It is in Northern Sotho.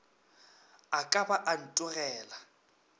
a ka ba a ntogela